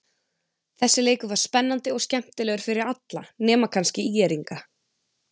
Þessi leikur var spennandi og skemmtilegur fyrir alla nema kannski ÍR-ingana.